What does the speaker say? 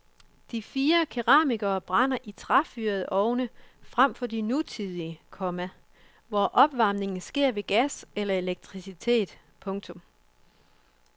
De fire keramikere brænder i træfyrede ovne frem for de nutidige, komma hvor opvarmningen sker ved gas eller elektricitet. punktum